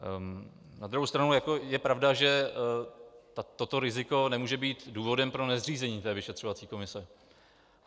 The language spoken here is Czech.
Na druhou stranu je pravda, že toto riziko nemůže být důvodem pro nezřízení té vyšetřovací komise.